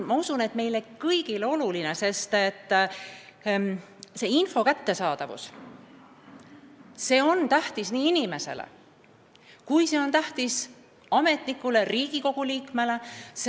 Ma usun, meile kõigile on info kättesaadavus oluline – see on tähtis nii inimesele kui ka ametnikule, samuti Riigikogu liikmele.